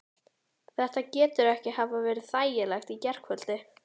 Þetta getur ekki hafa verið þægilegt í gærkvöldi?